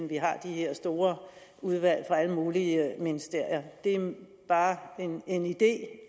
vi har de her store udvalg fra alle mulige ministerier det er bare en idé